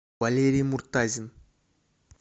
валерий муртазин